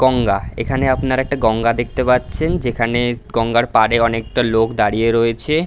গঙ্গা এখানে আপনারা একটা গঙ্গা দেখতে পারচ্ছেন । যেখানে গঙ্গার পারে অনেকটা লোক দাঁড়িয়ে রয়েছে ।